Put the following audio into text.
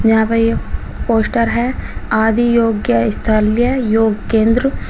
यहां पर ये पोस्टर है आदियोग्यस्थल्य योग केंद्र।